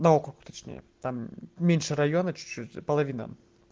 на округ точнее там меньше района чуть-чуть половина